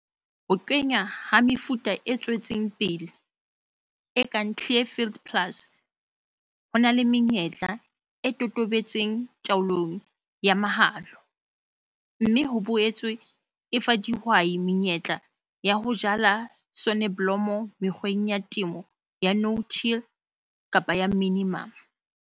Ho kenngwa ha mefuta e tswetseng pele, e kang Clearfield Plus ho na le menyetla e totobetseng taolong ya mahola, mme ho boetse e fa dihwai menyetla ya ho jala soneblomo mekgweng ya temo ya no-till kapa ya minimum.